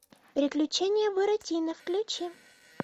приключения буратино включи